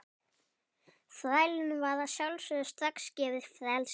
Þrælunum var að sjálfsögðu strax gefið frelsi.